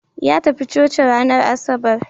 Ya tafi coci ranar Asabar.